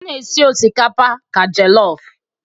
A na-esi osikapa ka jelofụ.